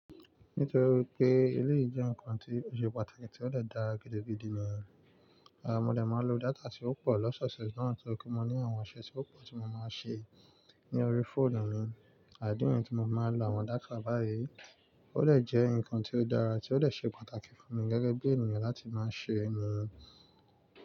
Nítorí wípé eléèyì jẹ́ nǹkan tó ṣe pàtàkì tí ó lè dá gidi gbìdì ni, à mo dẹ̀ máa lo data tí ó pọ̀ lọ́sọ̀ọ̀sẹ̀ na torí pé mo ní àwọn iṣẹ́ tí ó pọ̀ tí mo máa ń ṣe ní orí fóònù mi. Idí nìyẹ́n tí fi mo máa ń lo àwọn data báyìí ó de jẹ́ nǹkan tí ó dára tí ó de ṣe pàtàkì fún mi gẹ́gẹ́ bí ènìyàn láti máa ṣe ni.